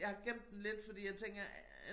Jeg har gemt den lidt fordi jeg tænker øh